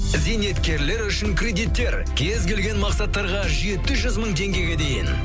зейнеткерлер үшін кредиттер кез келген мақсаттарға жеті жүз мың теңгеге дейін